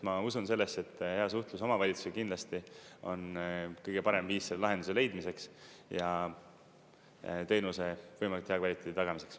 Ma usun sellesse, et hea suhtlus omavalitsusega kindlasti on kõige parem viis selle lahenduse leidmiseks ja teenuse võimalikult hea kvaliteedi tagamiseks.